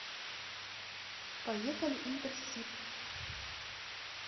поехали интерсиб